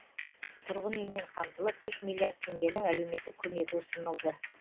тұрғын үймен қамтылып үш миллиард теңгенің әлеуметтік көмегі ұсынылды